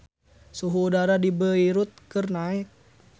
Suhu udara di Beirut keur naek